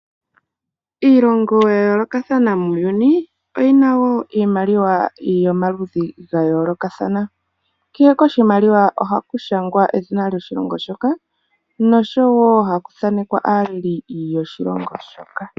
Iilongo ya yoolokathana muuyuni oyina woo iimaliwa yomaludhi ga yooloka. Kehe koshimaliwa oha ku shangwa edhina lyoshilongo shoka nosho woo ohaku thaanekwa aaleli yoshilongo shoka.